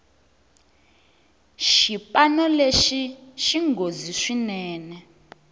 xipano lexi xinghozi swinene